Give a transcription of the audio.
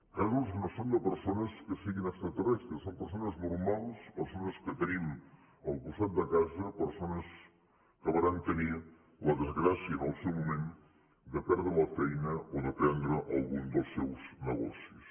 casos que no són de persones que siguin extraterrestres són persones normals persones que tenim al costat de casa persones que varen tenir la desgràcia en el seu moment de perdre la feina o de perdre algun dels seus negocis